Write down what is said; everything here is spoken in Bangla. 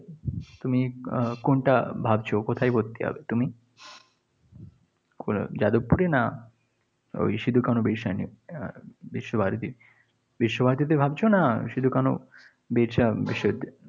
তুমি কোনটা ভাবছো? কোথায় ভর্তি হবে তুমি? কোথায়, যাদবপুরে না ওই সিধু-কানু বিরশা আহ বিশ্বভারতী? বিশ্বভারতীতে ভাবছ না সিধু-কানু বিরশা বিশ্ববিদ্যালয় এ?